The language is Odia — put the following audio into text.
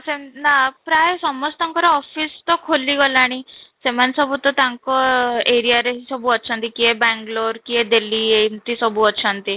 ନା ପ୍ରାଏ ସମସ୍ତଙ୍କର office ତ ଖୋଲି ଗଲାଣି, ସେମାନେ ସବୁ ତ ତାଙ୍କ ଏରିଆରେ ସବୁ ଅଛନ୍ତି କିଏ ବେଙ୍ଗାଲୁରୁ କିଏ ଦିଲ୍ଲୀ ଏମିତି ସବୁ ଅଛନ୍ତି